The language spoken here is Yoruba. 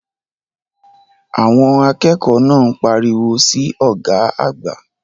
Àwọn akẹ́kọ̀ọ́ náà ń pariwo sí ọ̀gá àgbà.